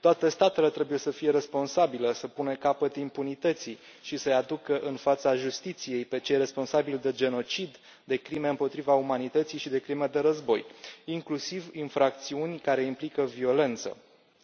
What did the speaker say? Toate statele trebuie să fie responsabile, să pună capăt impunității și să îi aducă în fața justiției pe cei responsabili de genocid, de crime împotriva umanității și de crime de război, inclusiv de infracțiuni care implică violență